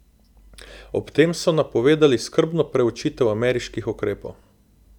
Ob tem so napovedali skrbno preučitev ameriških ukrepov.